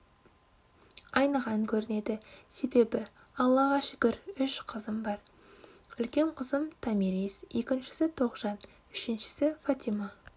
айныған көрінеді себебі аллаға шүкір үш қызым бар үлкен қызым томирис екіншісі тоғжан үшіншісі фатима